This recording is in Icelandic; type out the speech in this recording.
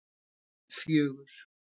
fjögur